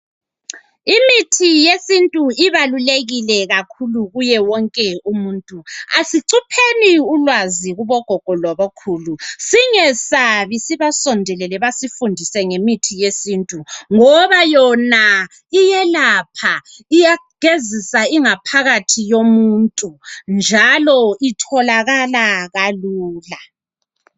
Imithi yesintu ibalulekile kakhulu. Kuye wonke umuntu. Asicupheni ulwazi, kubogogo, labokhulu. Singesabi! Sibasondelele, basifundise ngemithi yesintu, ngoba yona iyelapha! Iyagezisa ingaphakathi yomuntu. ltholakala kalula.